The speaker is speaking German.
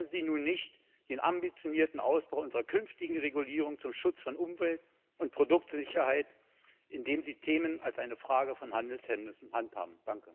Bremsen Sie nur nicht den ambitionierten Ausbau unserer künftigen Regulierung zum Schutz von Umwelt und Produktsicherheit, indem Sie Themen als eine Frage von Handelshemmnissen handhaben.